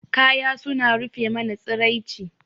Kaya suna rufe mana tsiraici.